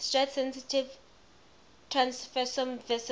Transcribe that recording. stress sensitive transfersome vesicles